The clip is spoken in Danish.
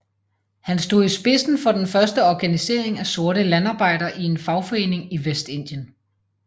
Han stod i spidsen for den første organisering af sorte landarbejdere i en fagforening i Vestindien